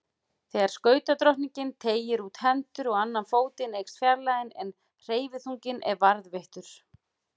Þegar skautadrottningin teygir út hendur og annan fótinn eykst fjarlægðin en hverfiþunginn er varðveittur.